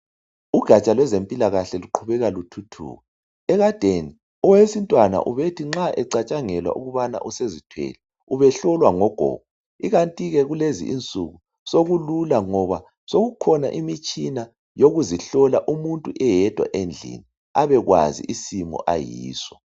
Ugatsha lwezempilakahle luqhubeka luthuthuka ekadeni owesintwana ubethi nxa ecatshangelwa ukubana usezithwele ubehlolwa ngogogo ikanti ke kulezinsuku sokulula ngoba sokukhona imitshina yokuzihlola umuntu eyedwa endlini abekwazi isimo ayiso.